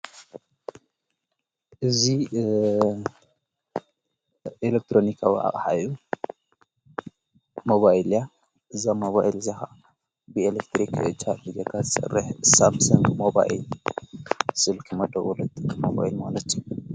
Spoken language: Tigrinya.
እዙ ኤለክጥሮኒካዊ ኣቕሐ እያ። ሞባይልያ እዛ መባዕል ዝኻነት ብኤለክትሪኽ ጫሊ ጌጋስ ርሕ ሳምሴንጎ ሞባይይል ስልኪ መደዉለት ሞባይል ትስርሕ አያ።